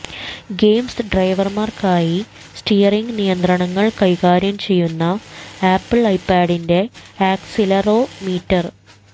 games ഡ്രൈവർമാർക്കായി steering നിയന്ത്രണങ്ങൾ കൈകാര്യം ചെയ്യുന്ന ആപ്പിൾ ഐപാഡിന്റെ ആക്സിലറോമീറ്റർ